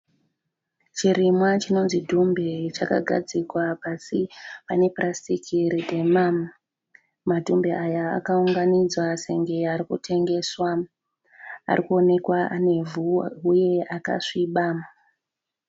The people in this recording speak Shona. Chirimwa chinonzi dhumbe chakagadzikwa pasi panepurasitiki ridema. Madhumbe aya akaunganidzwa senge arikutengeswa. Arikuonekwa anevhu huye akasviba.